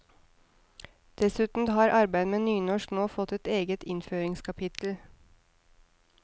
Dessuten har arbeid med nynorsk nå fått et eget innføringskapittel.